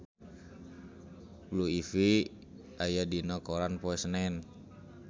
Blue Ivy aya dina koran poe Senen